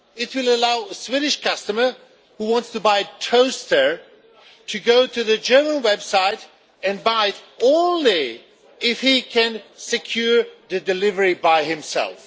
It will allow a Swedish customer who wants to buy a toaster to go to the German website and buy it but only if he can secure the delivery by himself.